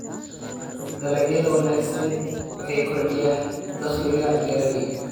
Dalagyada wanaagsani waxay kordhiyaan dakhliga beeralayda.